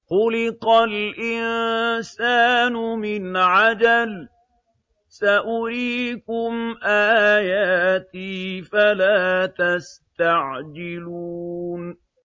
خُلِقَ الْإِنسَانُ مِنْ عَجَلٍ ۚ سَأُرِيكُمْ آيَاتِي فَلَا تَسْتَعْجِلُونِ